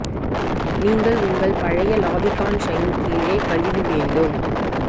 நீங்கள் உங்கள் பழைய லாபி கான் ஷைன் கீழே கழுவி வேண்டும்